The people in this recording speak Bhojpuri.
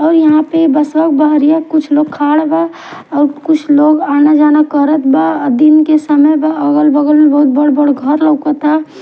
और यहाँ पर कुछ लोग खाड़ बा और कुछ लोग आना जाना करत बा और दिन के सामी बा अगल बगल में बहुत बड़े बड़े घर लउकता--